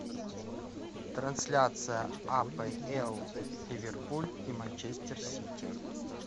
трансляция апл ливерпуль и манчестер сити